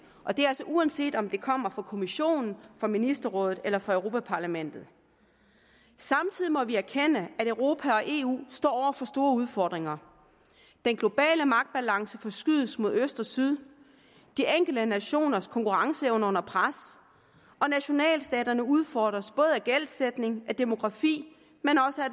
og det er altså uanset om det kommer fra kommissionen fra ministerrådet eller fra europa parlamentet samtidig må vi erkende at europa og eu står for store udfordringer den globale magtbalance forskydes mod øst og syd de enkelte nationers konkurrenceevne er under pres og nationalstaterne udfordres af både gældsætning demografi